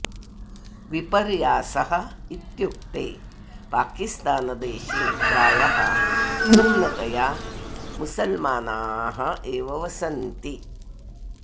विपर्यासः इत्युक्ते पाकिस्तानदेशे प्रायः पूर्णतया मुसल्मानाः एव वसन्ति